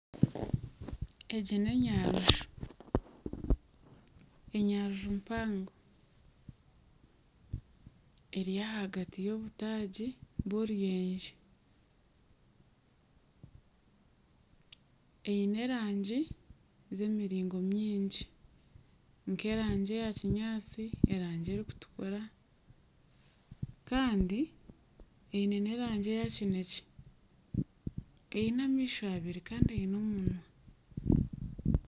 Egi n'enyaruju enyaruju mpango eri ahagati y'obutaagi bw'oruyenje eine erangi z'emiringo mingi nk'erangi eyakinyaatsi erangi erikitukura kandi eine n'erangi eya kinekye eine amaisho abiri kandi eine n'omunwa